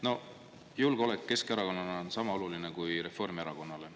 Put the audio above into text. No julgeolek on Keskerakonnale sama oluline kui Reformierakonnale.